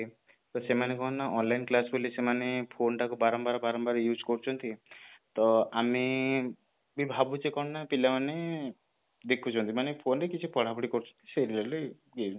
ତ ସେମାନେ କଣ ନା online class ବୋଲି ସେମାନେ phone ଟାକୁ ବାରମ୍ବାର ବାରମ୍ବାର use କରୁଛନ୍ତି ତ ଆମେ ବି ଭାବୁଛେ କଣ ନା ପିଲା ମାନେ ଦେଖୁଛନ୍ତି ମାନେ phone ରେ କିଛି ପଢାପଢି କରୁଛନ୍ତି